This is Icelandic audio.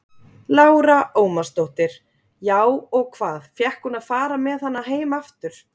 Lára Ómarsdóttir: Já, og hvað, fékk hún að fara með hana heim aftur?